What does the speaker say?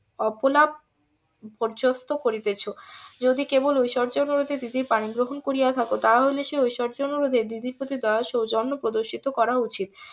অপলাপ . করিতেছ যদি কেবল ঐশ্বর্য . কারণে দিদির . করিয়া থাকো তাহলে সেই ঐশ্বর্য অনুরোধে দিদির প্রতি দয়া ও সৌজন্য প্রদর্শন করা উচিত